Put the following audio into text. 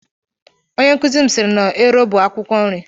Onye nkụzi m siiri na ero bụ akwụkwọ nri.